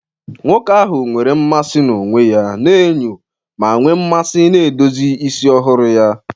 Nwoke ahụ nwere mmasị na onwe ya na enyo, ma nwee mmasị na edozi isi ọhụrụ ahụ.